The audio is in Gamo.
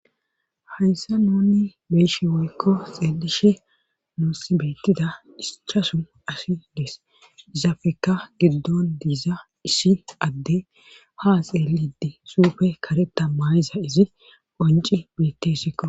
hayssa nuni beyshe woykko xeelishe nuussi bettida ischasu ashi dees izafekka giddon diiza ishi adde ha xeelidi suufe kare tammayiza izi qonci bette sikko